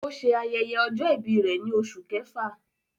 O ṣe ayẹyẹ ọjọ-ibi rẹ ni Oṣu Kẹfa